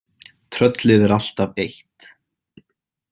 Tröllið er alltaf eitt.